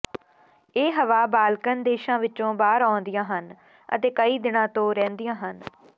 ਇਹ ਹਵਾ ਬਾਲਕਨ ਦੇਸ਼ਾਂ ਵਿਚੋਂ ਬਾਹਰ ਆਉਂਦੀਆਂ ਹਨ ਅਤੇ ਕਈ ਦਿਨਾਂ ਤੋਂ ਰਹਿੰਦੀਆਂ ਹਨ